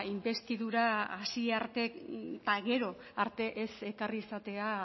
inbestidura hasi arte eta gero arte ez ekarri izatea